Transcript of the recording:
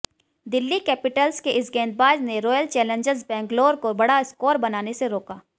Delhi capitals के इस गेंदबाज ने रॉयल चैलेंजर्स बैंगलोर को बड़ा स्कोर बनाने से रोका